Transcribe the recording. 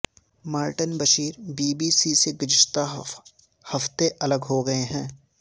Martin Bashir B B C سے گزشتہ ہفتے الگ ہو گئے ہیں